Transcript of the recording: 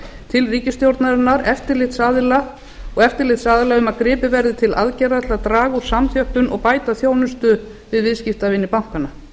til ríkisstjórnarinnar og eftirlitsaðila um að gripið verði til aðgerða til að draga úr samþjöppun og bæta þjónustu við viðskiptavini bankanna